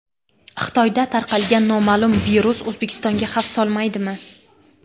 Xitoyda tarqalgan noma’lum virus O‘zbekistonga xavf solmaydimi?